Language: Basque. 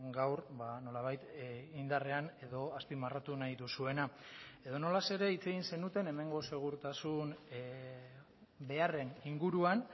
gaur nola bait indarrean edo azpimarratu nahi duzuena edonola ere hitz egin zenuten hemengo segurtasun beharren inguruan